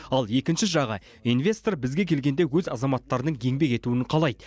ал екінші жағы инвестор бізге келгенде өз азаматтарының еңбек етуін қалайды